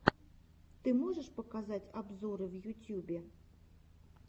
ты можешь показать обзоры в ютьюбе